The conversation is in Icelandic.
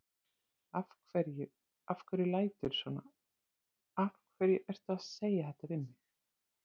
Af hverju. af hverju læturðu svona. af hverju ertu að segja þetta við mig?